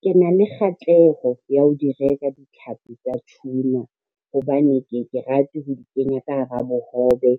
Ke na le kgatleko ya ho di reka ditlhapi tsa tuna, hobane ke ye ke rate ho di kenya ka hara bohobe,